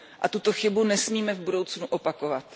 A tuto chybu nesmíme v budoucnu opakovat.